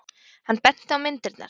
Hann benti á myndirnar.